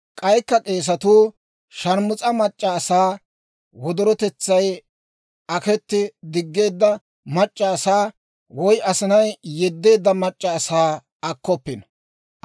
« ‹K'aykka k'eesatuu sharmus'a mac'c'a asaa, wodorotetsay aketti diggeedda mac'c'a asaa, woy asinay yeddeedda mac'c'a asaa akkoppino.